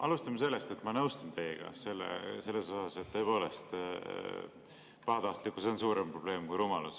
Alustame sellest, et ma nõustun teiega selles, et pahatahtlikkus on tõepoolest suurem probleem kui rumalus.